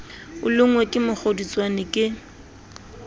o lonngwe ke mokgodutswane ke